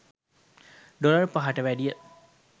dollar පහට වැඩිය